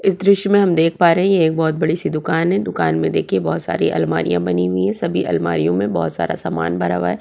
इस दृश्य में हम देख पा रहे ये एक बहोत बडी सी दुकान हैदुकान में देखिये बहोत सारी अलमारिया बनी हुई है सभी अलमारियो में बहोत सारा सामान भरा हुआ है।